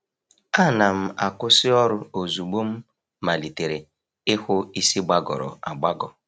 A na'm-akwụsị ọrụ ozugbo m malitere ịhụ isi gbagọrọ agbagọ.